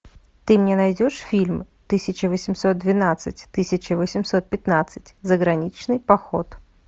ты мне найдешь фильм тысяча восемьсот двенадцать тысяча восемьсот пятнадцать заграничный поход